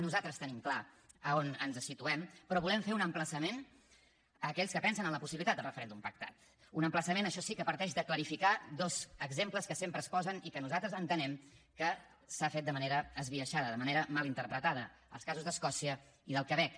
nosaltres tenim clar on ens situem però volem fer un emplaçament a aquells que pensen en la possibilitat del referèndum pactat un emplaçament això sí que parteix de clarificar dos exemples que sempre es posen i que nosaltres entenem que s’ha fet de manera esbiaixada de manera mal interpretada els casos d’escòcia i del quebec